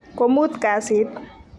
komut kasit.